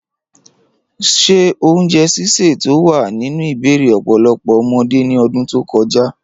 Ṣé oúnjẹ sísè tí ó wà nínú ìbẹ̀rẹ̀ ọ̀pọ̀lọpọ̀ ọmọdé ní ọdún tó kọjá?